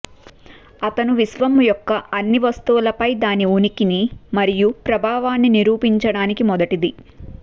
అతను విశ్వం యొక్క అన్ని వస్తువులపై దాని ఉనికి మరియు ప్రభావాన్ని నిరూపించడానికి మొదటిది